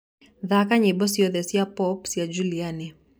thaka nyĩmbo cĩothe cĩa pop cĩa juliani